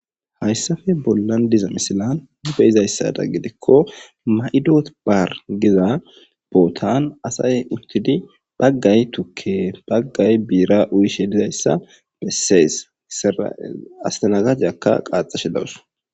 Haysappe bollan betiza misilan beyizaysada gidiko Giza bottan asay uttidi bagay tuke bagay bira uyishe dizaysa beses astanagajiyaka qaxashe dawus